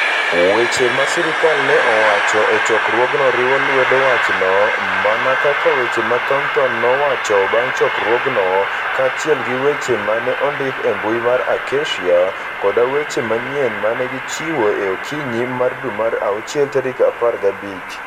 Weche ma sirkal ne owacho e chokruogno riwo lwedo wachno, mana kaka weche ma Thornton nowacho bang' chokruogno, kaachiel gi weche ma ne ondik e mbui mar Acacia, koda weche manyien ma ne gichiwo e okinyi mar dwe mar awuchiel 15.